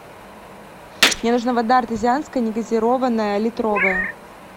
мне нужна вода артезианская негазированная литровая